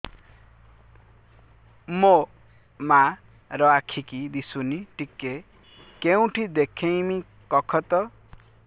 ମୋ ମା ର ଆଖି କି ଦିସୁନି ଟିକେ କେଉଁଠି ଦେଖେଇମି କଖତ